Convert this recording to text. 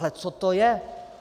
Ale co to je?